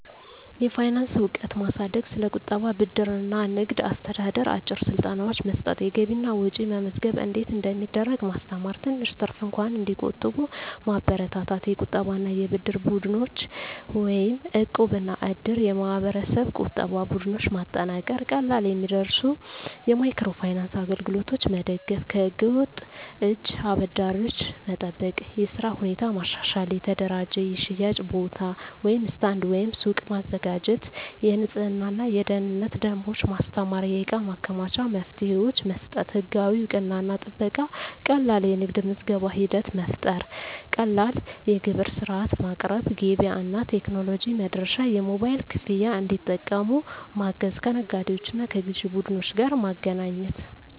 የፋይናንስ እውቀት ማሳደግ ስለ ቁጠባ፣ ብድር እና ንግድ አስተዳደር አጭር ስልጠናዎች መስጠት የገቢና ወጪ መመዝገብ እንዴት እንደሚደረግ ማስተማር ትንሽ ትርፍ እንኳን እንዲቆጠብ መበረታታት የቁጠባና የብድር ቡድኖች (እቃብ/እድር ) የማህበረሰብ ቁጠባ ቡድኖች ማጠናከር ቀላል የሚደርሱ የማይክሮ ፋይናንስ አገልግሎቶች መደገፍ ከህገ-ወጥ እጅ አበዳሪዎች መጠበቅ የሥራ ሁኔታ ማሻሻል የተደራጀ የሽያጭ ቦታ (ስታንድ/ሱቅ) ማዘጋጀት የንፅህናና የደህንነት ደንቦች ማስተማር የእቃ ማከማቻ መፍትሄዎች መስጠት ህጋዊ እውቅናና ጥበቃ ቀላል የንግድ ምዝገባ ሂደት መፍጠር ቀላል የግብር ሥርዓት ማቅረብ ገበያ እና ቴክኖሎጂ መድረሻ የሞባይል ክፍያ እንዲጠቀሙ ማገዝ ከነጋዴዎችና ከግዥ ቡድኖች ጋር ማገናኘት